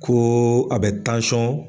Ko a bɛ .